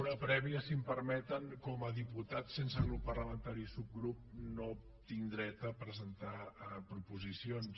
una prèvia si m’ho permeten com a diputat sense grup parlamentari o subgrup no tinc dret a presentar proposicions